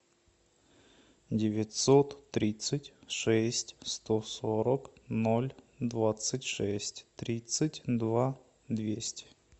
девятьсот тридцать шесть сто сорок ноль двадцать шесть тридцать два двести